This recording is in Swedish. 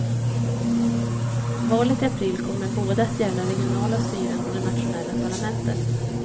Valet i april kommer både att gälla regionala styren och det nationella parlamentet.